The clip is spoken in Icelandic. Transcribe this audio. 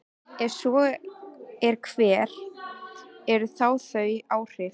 Ef svo er, hver eru þá þau áhrif?